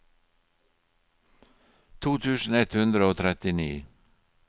to tusen ett hundre og trettini